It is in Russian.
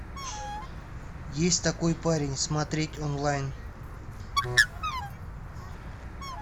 есть такой парень смотреть онлайн